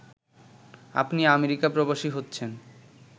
আপনি আমেরিকা প্রবাসী হচ্ছেন